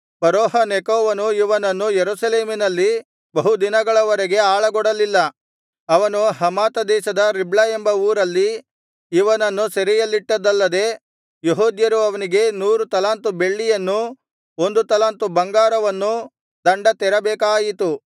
ಫರೋಹ ನೆಕೋವನು ಇವನನ್ನು ಯೆರೂಸಲೇಮಿನಲ್ಲಿ ಬಹು ದಿನಗಳವರೆಗೆ ಆಳಗೊಡಲಿಲ್ಲ ಅವನು ಹಮಾತ ದೇಶದ ರಿಬ್ಲಾ ಎಂಬ ಊರಲ್ಲಿ ಇವನನ್ನು ಸೆರೆಯಲ್ಲಿಟ್ಟದ್ದಲ್ಲದೆ ಯೆಹೂದ್ಯರು ಅವನಿಗೆ ನೂರು ತಲಾಂತು ಬೆಳ್ಳಿಯನ್ನೂ ಒಂದು ತಲಾಂತು ಬಂಗಾರವನ್ನೂ ದಂಡ ತೆರಬೇಕಾಯಿತು